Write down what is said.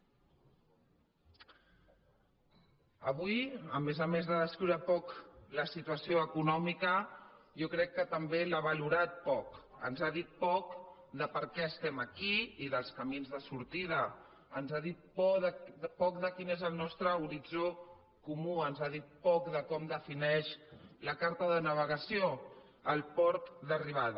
avui a més a més de descriure poc la situació econòmica jo crec que també l’ha valorada poc ens ha dit poc del per què estem aquí i dels camins de sortida ens ha dit poc de quin és el nostre horitzó comú ens ha dit poc de com defineix la carta de navegació el port d’arribada